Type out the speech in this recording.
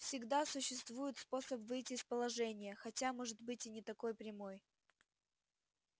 всегда существует способ выйти из положения хотя может быть и не такой прямой